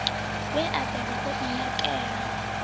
we a bebwa o inakela